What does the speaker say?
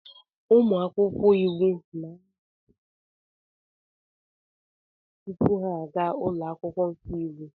Ụmụ akwụkwọ iwu na-anọbu afọ ise na mahadum tupu ha aga ụlọ akwụkwọ nke iwu.